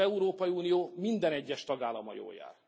Az Európai Unió minden egyes tagállama jól jár.